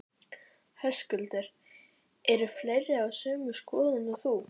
Höskuldur: Eru fleiri á sömu skoðun og þú?